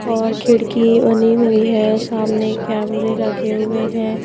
और खिड़की बनी हुई है सामने कैमरे लगे हुए हैं।